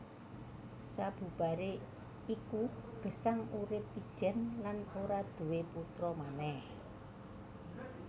Sabubaré iku Gesang urip ijèn lan ora duwé putra manèh